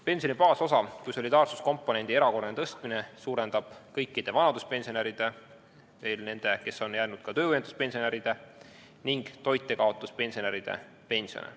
Pensioni baasosa kui solidaarsuskomponendi erakorraline tõstmine suurendab kõikide vanaduspensionäride, järelejäänud töövõimetuspensionäride ning toitjakaotuspensionäride pensione.